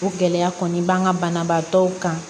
O gɛlɛya kɔni b'an ka banabaatɔw kan